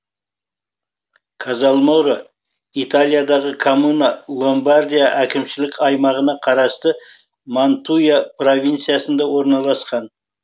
казальморо италиядағы коммуна ломбардия әкімшілік аймағына қарасты мантуя провинциясында орналасқан